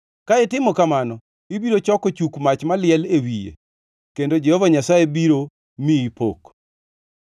Ka itimo kamano, ibiro choko chuk mach maliel e wiye, kendo Jehova Nyasaye biro miyi pok.